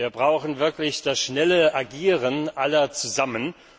Wir brauchen wirklich das schnelle Agieren aller zusammen.